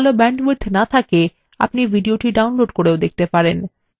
আপনার যদি ভাল bandwidth না থাকে আপনি এটি download করেও দেখতে পারেন